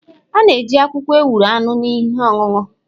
A ga-eji akwụkwọ ewuro aṅụ ihe ọṅụṅụ.